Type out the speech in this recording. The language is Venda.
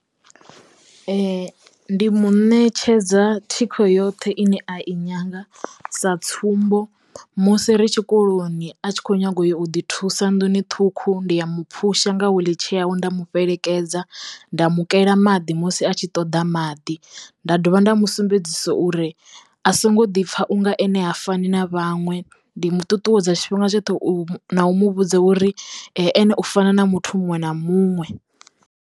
Ndi mu ṋetshedza thikho yoṱhe ine a i nyaga sa tsumbo musi ri tshikoloni a tshi kho nyaga u yo u ḓi thusa nḓuni ṱhukhu ndi ya mu phusha nga wiḽitshee nda mu fhelekedza, nda mu kela maḓi musi a tshi ṱoḓa maḓi, nda dovha nda musumbedzisa uri a songo ḓi pfa unga ene ha fani na vhaṅwe ndi muṱuṱuwedza tshifhinga tshoṱhe u no u mu vhudza uri ene u fana na muthu muṅwe na muṅwe.